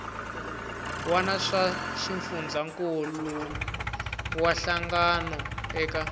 wana swa xifundzankuluwa hlangano eka